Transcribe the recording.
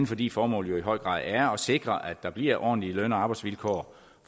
fordi formålet jo i høj grad er at sikre at der bliver ordentlige løn og arbejdsvilkår